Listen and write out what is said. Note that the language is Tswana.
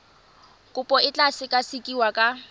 kopo e tla sekasekiwa ka